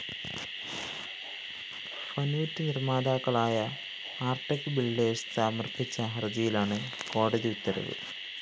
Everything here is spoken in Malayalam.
ഫഌറ്റ് നിര്‍മാതാക്കളായ ആര്‍ടെക് ബിൽഡേഴ്സ്‌ സമര്‍പിച്ച ഹര്‍ജിയിലാണ് കോടതി ഉത്തരവ്